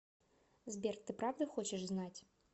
сбер ты правда хочешь знать